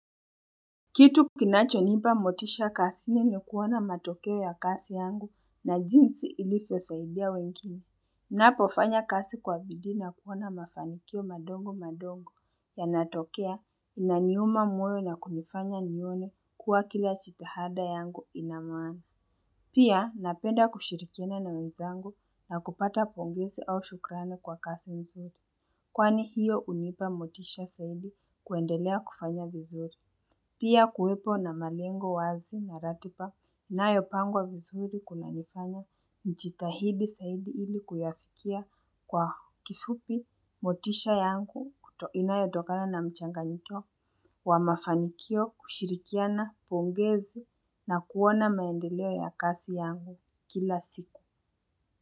Kitu kinachonipa motisha kazini ni kuona matokeo ya kasi yangu na jinsi ilivosaidia wengine. Napofanya kasi kwa bidii na kuona mafanikio madogo madogo yanatokea inaniuma moyo na kunifanya nione kuwa kila jitahada yangu ina maana Pia napenda kushirikiana na wenzangu na kupata pongesi au shukrani kwa kasi nzuri. Kwani hiyo unipa motisha saidi kuendelea kufanya vizuri. Pia kuwepo na malengo wazi na ratiba inayopangwa vizuri kunanifanya nichitahidi sahidi ili kuyafikia kwa kifupi motisha yangu inayotokana na mchanganyiko wa mafanikio kushirikiana pongezi na kuona maendeleo ya kasi yangu kila siku.